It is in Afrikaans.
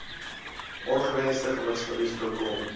ongewensde gewigsverlies voorkom